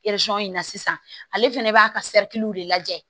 in na sisan ale fɛnɛ b'a ka sɛritiw de lajɛ